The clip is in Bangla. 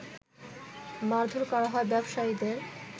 মারধোর করা হয় ব্যবসায়ীদের